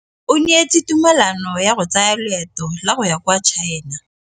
O neetswe tumalanô ya go tsaya loetô la go ya kwa China.